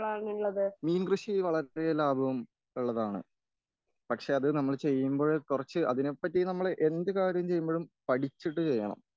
മീൻ കൃഷി വളരെയ ലാഭം ഉള്ളതാണ്.പക്ഷെ നമ്മള് അത് ചെയ്യുമ്പഴ് കുറച്ച് അതിനെപ്പറ്റി എന്ത് കാര്യം ചെയ്യുമ്പഴും പഠിച്ചിട്ട് ചെയ്യണം.